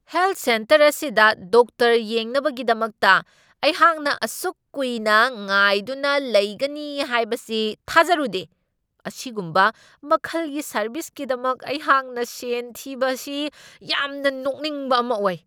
Health centre ꯑꯁꯤꯗ doctor ꯌꯦꯡꯅꯕꯒꯤꯗꯃꯛꯇ ꯑꯩꯍꯥꯛꯅ ꯑꯁꯨꯛ ꯀꯨꯏꯅ ꯉꯥꯏꯗꯨꯅ ꯂꯩꯒꯅꯤ ꯍꯥꯏꯕꯁꯤ ꯊꯥꯖꯔꯨꯗꯦ ! ꯑꯁꯤꯒꯨꯝꯕ ꯃꯈꯜꯒꯤ ꯁꯔꯕꯤꯁꯀꯤꯗꯃꯛ ꯑꯩꯍꯥꯛꯅ ꯁꯦꯟ ꯊꯤꯕ ꯑꯁꯤ ꯌꯥꯝꯅ ꯅꯣꯛꯅꯤꯡꯕ ꯑꯃ ꯑꯣꯏ ꯫"